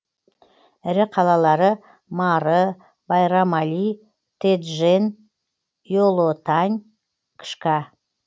ірі қалалары мары байрам али теджен иолотань кшка